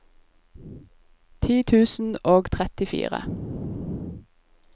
ti tusen og trettifire